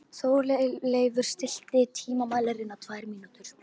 Þórleif, stilltu tímamælinn á tvær mínútur.